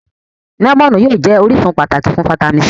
Lẹ́mọ̀nù yóò jẹ́ orísun pàtàkì fún fáítámì C